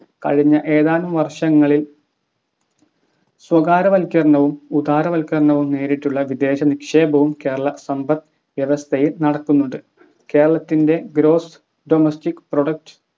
കഴിഞ്ഞ ഏതാനും വർഷങ്ങളിൽ സ്വകാര്യവൽക്കരണവും ഉദാരവൽക്കരണവും നേരിട്ടുള്ള വിദേശ നിക്ഷേപവും കേരള സമ്പദ് വ്യവസ്ഥയിൽ നടക്കുന്നുണ്ട് കേരളത്തിൻ്റെ Gross Domestic Product